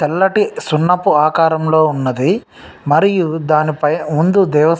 తెల్లటి సున్నపు ఆకారం లో ఉన్నదీ. మరియు దాని పై-ముందు దేవస్థా --